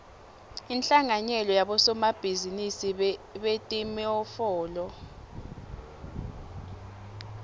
inhlanganyelo yabosomabhizinisi betimofolo